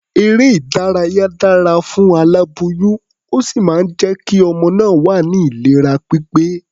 Eré-ìdárayá dára fún aláboyún, ó sì máa jẹ́ kí ọmọ náà wà ní ìlera pípé.